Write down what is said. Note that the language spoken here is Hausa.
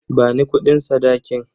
Bani kudin sadakin.